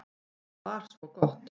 Það var gott